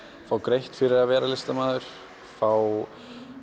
fá greitt fyrir að vera listamaður fá